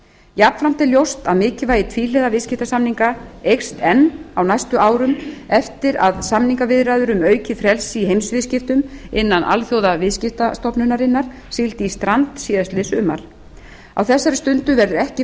jafnframt er ljóst að mikilvægi tvíhliða viðskiptasamninga eykst enn á næstu árum eftir að samningaviðræður um aukið frelsi í heimsviðskiptum innan alþjóðaviðskiptastofnunarinnar sigldu í strand síðastliðið sumar á þessari stundu verður ekki